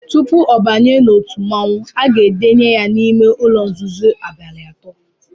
Tupu ọ banye n’otu mmọnwụ a ga-edenye ya n’ime ụ̣̣lọ̣ nzuzo abalị atọ